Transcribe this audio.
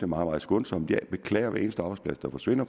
meget skånsomt jeg beklager hver eneste arbejdsplads der forsvinder